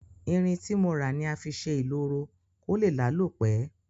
Irin tí mo rà ni a fi sé ìloro ko lé lálò pe